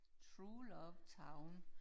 True love town